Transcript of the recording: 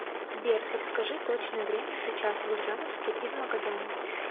сбер подскажи точное время сейчас в ульяновске и в магадане